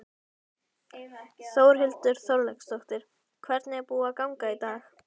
Þórhildur Þorkelsdóttir: Hvernig er búið að ganga í dag?